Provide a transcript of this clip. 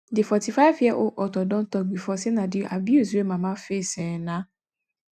di 45 year old author don tok bifor say na di abuse wey mama face um na